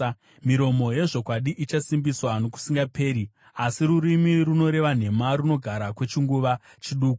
Miromo yezvokwadi ichasimbiswa nokusingaperi, asi rurimi runoreva nhema runogara kwechinguva chiduku.